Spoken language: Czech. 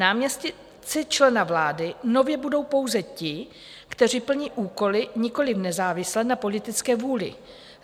Náměstci člena vlády nově budou pouze ti, kteří plní úkoly nikoliv nezávisle na politické vůli.